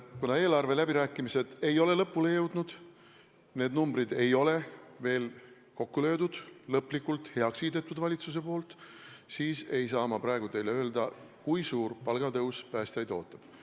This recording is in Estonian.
Kuna eelarveläbirääkimised ei ole lõpule jõudnud, numbrid ei ole veel kokku löödud ja valitsus ei ole neid lõplikult heaks kiitnud, siis ma ei saa praegu teile öelda, kui suur palgatõus päästjaid ees ootab.